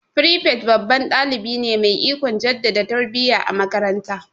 Firifet babban dalibi ne mai ikon jaddada tarbiya a makaranta.